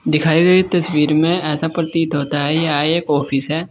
दिखाई गई तस्वीर में ऐसा प्रतीत होता है यह एक ऑफिस है।